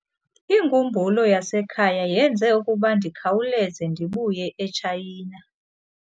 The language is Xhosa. Inkumbulo yasekhaya yenze ukuba ndikhawuleze ndibuye eTshayina.